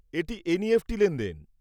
এটি এনইএফটি লেনদেন।